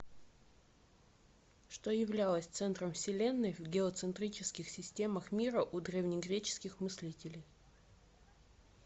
что являлось центром вселенной в геоцентрических системах мира у древнегреческих мыслителей